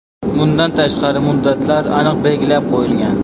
Bundan tashqari, muddatlar aniq belgilab qo‘yilgan.